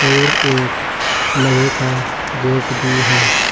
और एक लोहे का गेट भी है।